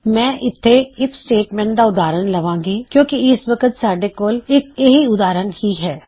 ਮੈਂ ਇਥੇ if statement ਦਾ ਉਦਾਹਰਨ ਲਵਾਂਗੀ ਕਿਉਂ ਕਿ ਇਸ ਵਕਤ ਸਾੱਡੇ ਕੋਲ ਇੱਕ ਇਹੋ ਉਦਾਹਰਨ ਹੀ ਹੈ